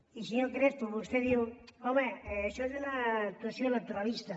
i senyor crespo vostè diu home això és una actuació electoralista